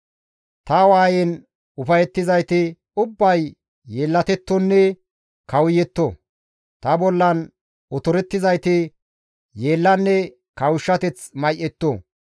Ta waayen ufayettizayti ubbay yeellatettonne kawuyetto; ta bollan otorettizayti yeellanne kawushshateth may7etto.